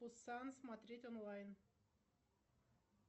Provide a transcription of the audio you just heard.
пусан смотреть онлайн